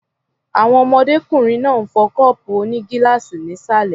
Àwọn ọmọdékùnrin náà ń fọ́ kọ́ọ̀pù onígíláàsì ní ìsàlẹ̀ m